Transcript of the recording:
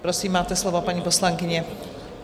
Prosím, máte slovo, paní poslankyně.